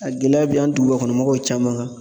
A gɛlɛya bɛ an dugubakɔnɔmɔgɔw caman kan.